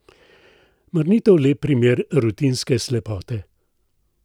Mar ni to lep primer rutinske slepote?